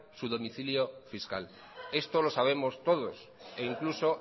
su domicilio fiscal esto lo sabemos todos e incluso